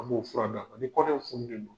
A b'o fura da ani kɔnɔw funen don.